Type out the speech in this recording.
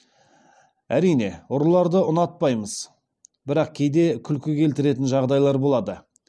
әрине ұрыларды ұнатпаймыз бірақ кейде күлкі келтіретін жағдайлар болады